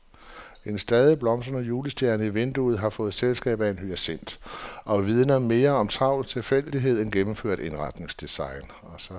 En stadig blomstrende julestjerne i vinduet har fået selskab af en hyacint og vidner mere om travl tilfældighed end gennemført indretningsdesign.